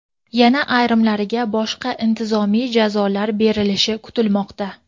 yana ayrimlariga boshqa intizomiy jazolar berilishi kutilmoqda.